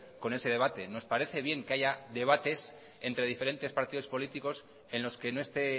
con ese debate nos parece bien que haya debates entre diferentes partidos políticos en los que no este